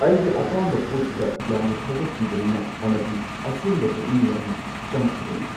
ꯑꯩꯒꯤ ꯑꯄꯥꯝꯕ ꯄꯣꯠꯇꯨꯗ ꯌꯥꯝꯅ ꯊꯧꯒꯠꯄꯤꯕꯅꯤꯅ ꯑꯃꯗꯤ ꯑꯁꯦꯡꯕ ꯄꯨꯛꯅꯤꯡ ꯌꯥꯝꯅ ꯆꯪꯈꯤꯕꯅꯤ꯫